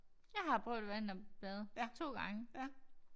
Jeg har prøvet at vinterbade 2 gange